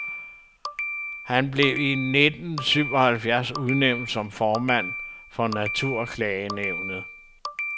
Han blev i nittensyvoghalvfjerds udnævnt som formand for naturklagenævnet.